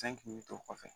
Fɛn kun bɛ to o kɔfɛ